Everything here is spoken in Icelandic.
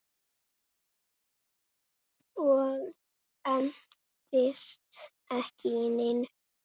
Og entist ekki í neinu.